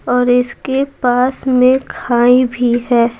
और इसके पास में खाई भी है।